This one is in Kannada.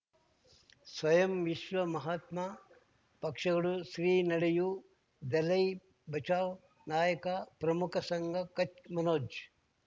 ಸ್ವಯಂ ವಿಶ್ವ ಮಹಾತ್ಮ ಪಕ್ಷಗಳು ಶ್ರೀ ನಡೆಯೂ ದಲೈ ಬಚೌ ನಾಯಕ ಪ್ರಮುಖ ಸಂಘ ಕಚ್ ಮನೋಜ್